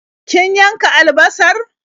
Kin yanka albasar?